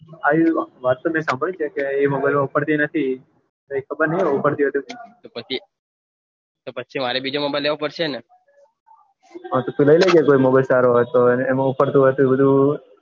હા વાત તો મેં સાંભળી છે ગેમ ઉપડતી નથી કે ખબર ની કે ઉપડતી કે ની કે પછી મારે બીજો નંબર લેવો પડસે હા તો તું લઇલેજે mobile સારો હતો એમાં ઉપડતો નથી